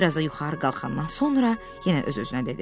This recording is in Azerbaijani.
Biraz da yuxarı qalxandan sonra yenə öz-özünə dedi.